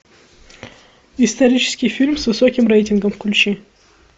исторический фильм с высоким рейтингом включи